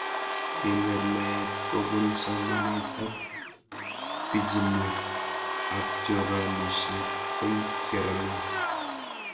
Kenyor naet kopun somanet ak pichiinwek abchoranishet eng' sierra leon